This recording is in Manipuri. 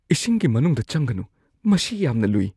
ꯏꯁꯤꯡꯒꯤ ꯃꯅꯨꯡꯗ ꯆꯪꯒꯅꯨ꯫ ꯃꯁꯤ ꯌꯥꯝꯅ ꯂꯨꯏ!